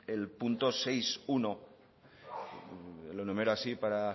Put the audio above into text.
el punto seis punto uno lo enumero así para